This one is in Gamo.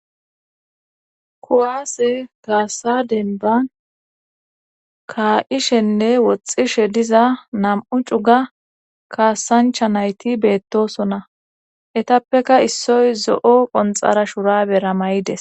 kuwase kaassa denban ka7ishenne woxxishe diza nam7u cuga kaassancha nayti beettosona etappeka issoy zo7o qonxara shura bera may7ides